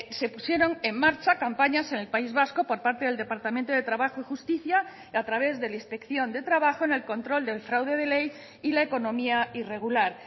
se pusieron en marcha campañas en el país vasco por parte del departamento de trabajo y justicia a través de la inspección de trabajo en el control del fraude de ley y la economía irregular